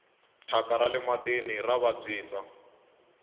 thyaka rale matini ra vabyisa